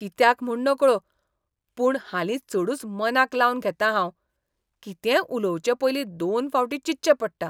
कित्याक म्हूण नकळो, पूण हालीं चडूच मनाक लावन घेतां हांव. कितेंय उलोवचे पयलीं दोन फावटीं चिंतचें पडटा.